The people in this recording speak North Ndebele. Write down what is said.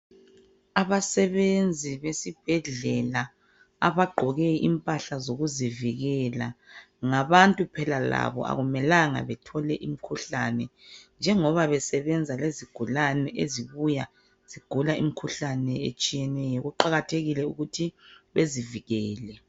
Abasebenzi besibhedlela, abagqoke impahla zokuzivikela. Ngabantu phela labo. Kakumelanga bethole imikhuhlane. Njengoba besebenza lezigulane, ezibuya zigula imikhuhlane, etshiyeneyo. Kuqakathekile ukuthi bezivikele.